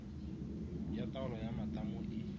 ya taolo ya matamo e